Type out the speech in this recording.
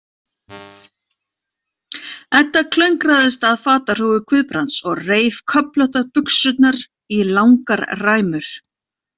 Edda klöngraðist að fatahrúgu Guðbrands og reif köflóttar buxurnar í langar ræmur.